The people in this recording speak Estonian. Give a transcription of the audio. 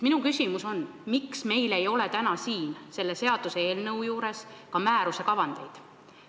Minu küsimus ongi: miks meil ei ole täna selle seaduseelnõu juures ka määruste kavandeid?